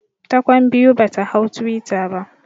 Ta kwan biyu bata hau twitter ba